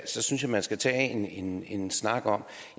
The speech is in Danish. så synes jeg man skal tage en en snak om